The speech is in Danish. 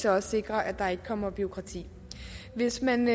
også sikrer at der ikke kommer bureaukrati hvis man